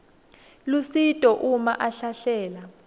lusito uma ahlahlela